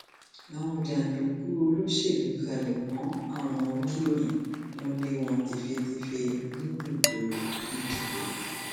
àwọn jàǹdùkú olóṣèlú halẹ mọ àwọn oníròyìn wọn lé wọn tẹfẹtẹfẹ níbùdó ìdìbò